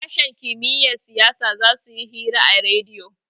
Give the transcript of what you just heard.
sashen kimiyyar siyasa za su yi hira a rediyo